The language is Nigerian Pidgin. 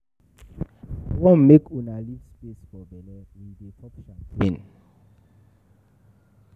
I wan make una leave space for bele, we dey pop champagne